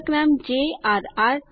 લેખક નામ jrઆર